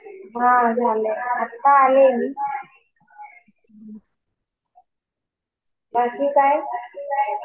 हा झालं. आता आले मी. बाकी काय?